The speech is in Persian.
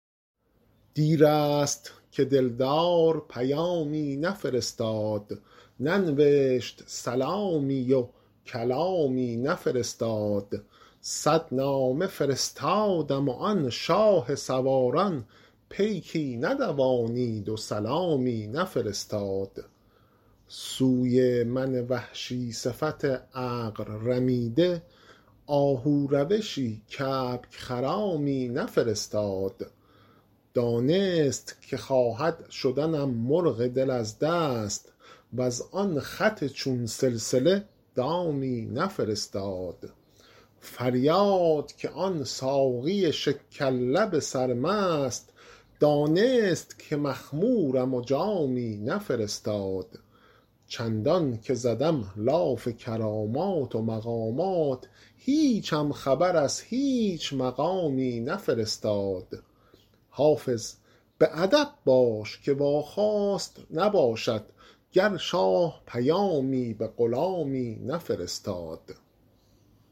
دیر است که دل دار پیامی نفرستاد ننوشت سلامی و کلامی نفرستاد صد نامه فرستادم و آن شاه سواران پیکی ندوانید و سلامی نفرستاد سوی من وحشی صفت عقل رمیده آهو روشی کبک خرامی نفرستاد دانست که خواهد شدنم مرغ دل از دست وز آن خط چون سلسله دامی نفرستاد فریاد که آن ساقی شکر لب سرمست دانست که مخمورم و جامی نفرستاد چندان که زدم لاف کرامات و مقامات هیچم خبر از هیچ مقامی نفرستاد حافظ به ادب باش که واخواست نباشد گر شاه پیامی به غلامی نفرستاد